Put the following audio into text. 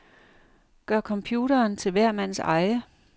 Gør computeren til hver mands eje.